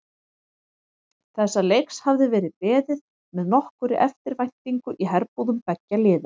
Þessa leiks hafði verið beðið með nokkurri eftirvæntingu í herbúðum beggja liða.